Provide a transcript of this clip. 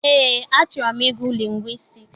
Eé, achọrọ m ịgụ lingwistiks.